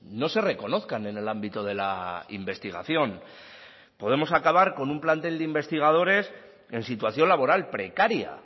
no se reconozcan en el ámbito de la investigación podemos acabar con un plantel de investigadores en situación laboral precaria